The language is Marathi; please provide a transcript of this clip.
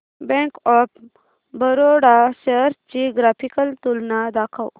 बँक ऑफ बरोडा शेअर्स ची ग्राफिकल तुलना दाखव